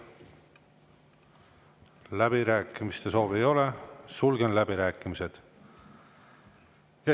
Läbirääkimiste soovi ei ole, sulgen läbirääkimised.